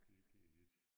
Det går ikke